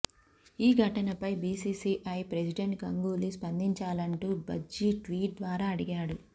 ఈ ఘటనపై BCCI president Ganguly స్పందించాలంటూ భజ్జీ ట్వీట్ ద్వారా అడిగాడు